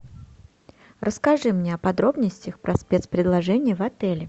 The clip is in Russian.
расскажи мне о подробностях про спецпредложения в отеле